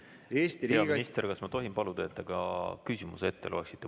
Hea minister, kas ma tohin paluda, et te ka küsimuse ette loeksite?